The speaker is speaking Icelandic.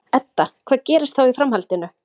Edda: Hvað gerist þá í framhaldinu?